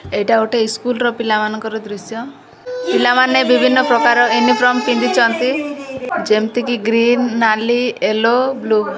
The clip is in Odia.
ଏଇଟା ଗୋଟେ ଇସ୍କୁଲ ର ପିଲାମାନଙ୍କର ଦୁଶ୍ୟ ପିଲାମାନେ ବିଭିନ୍ନ ପ୍ରକାର ୟୁନିଫର୍ମ ପିନ୍ଧିଛନ୍ତି ଯେମିତିକି ଗ୍ରୀନ ନାଲି ୟେଲୋ ବ୍ଲୁ ।